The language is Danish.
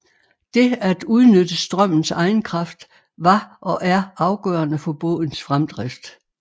Det at udnytte strømmens egen kraft var og er afgørende for bådens fremdrift